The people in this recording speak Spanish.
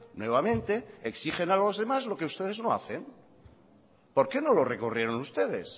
nuevamente exigen a los demás lo que ustedes no hacen por qué no lo recurrieron ustedes